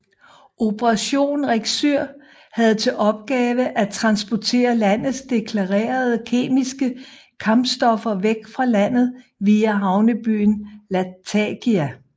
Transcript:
Operation RECSYR havde til opgave at transportere landets deklarerede kemiske kampstoffer væk fra landet via havnebyen Latakia